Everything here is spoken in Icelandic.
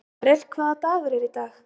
Marel, hvaða dagur er í dag?